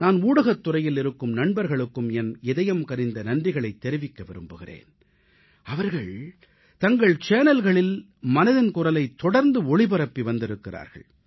நான் ஊடகத்துறையில் இருக்கும் நண்பர்களுக்கும் என் இதயம் கனிந்த நன்றிகளைத் தெரிவிக்க விரும்புகிறேன் அவர்கள் தங்கள் சேனல்களில் மனதின் குரலைத் தொடர்ந்து ஒளிபரப்பி வந்திருக்கிறார்கள்